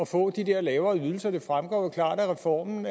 få de der lavere ydelser det fremgår jo klart af reformen